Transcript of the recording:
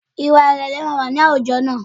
Ìwà ìrẹ̀lẹ̀ máa wà ní àwùjọ wa